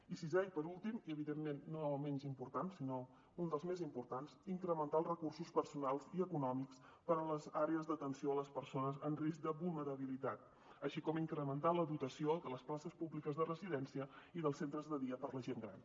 i sisè i per últim i evidentment no menys important sinó un dels més importants incrementar els recursos personals i econòmics per a les àrees d’atenció a les persones en risc de vulnerabilitat així com incrementar la dotació de les places públiques de residència i dels centres de dia per a la gent gran